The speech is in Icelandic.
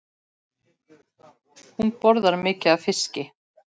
Hún borðar mikið af fiski.